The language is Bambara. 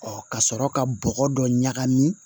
ka sɔrɔ ka bɔgɔ dɔ ɲagami